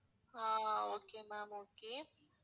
ah okay ma'am okay